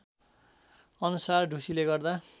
अनुसार ढुसीले गर्दा